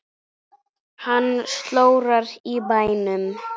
Hann slórar í bænum.